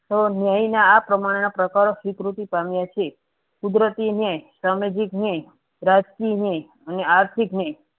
ન્યાય ના આ પ્રમાણના પ્રકારો સ્વીકૃતિ પામ્યા છે કુદરતી ન્યાય સામાજિક ન્યાય રાજકીય ન્યાય અને આર્થિક ન્યાય